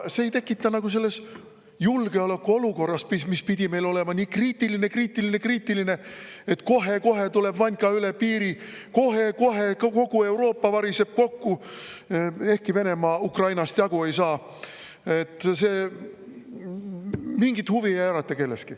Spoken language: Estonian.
See selles julgeolekuolukorras, mis pidi olema nii kriitiline-kriitiline-kriitiline, et kohe-kohe tuleb Vanka üle piiri, kohe-kohe kogu Euroopa variseb kokku – ehkki Venemaa Ukrainast jagu ei saa –, kelleski mingit huvi ei ärata.